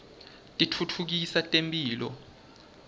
titfutfukisa temphilo